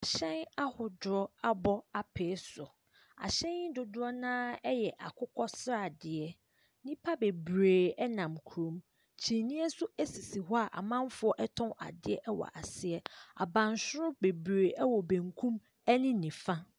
Ahyɛn ahodoɔ abɔ apee so. Ahyɛn yi dodoɔ no ara yɛ akokɔsradeɛ. Nnipa bebree nam kurom. Kyiniiɛ nso sisi hɔ a amanfoɔ tɔn adeɛ wɔ ase. Abansoro bebree wɔ benkum ne nifa.